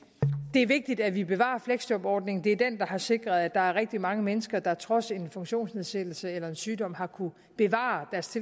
det er vigtigt at vi bevarer fleksjobordningen det er den der har sikret at der er rigtig mange mennesker der trods en funktionsnedsættelse eller en sygdom har kunnet bevare deres